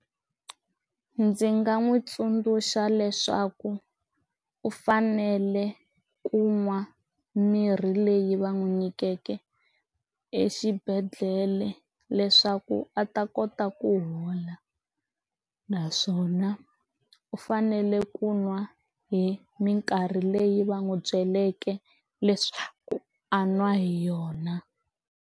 Ndzi nga n'wi tsundzuxa leswaku u fanele ku nwa mirhi leyi va n'wi nyikikeke exibedhlele leswaku a ta kota ku hola naswona u fanele ku nwa hi mikarhi leyi va n'wi byeleke leswaku a nwa hi yona.